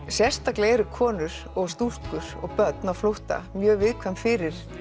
sérstaklega eru konur og stúlkur og börn á flótta mjög viðkvæm fyrir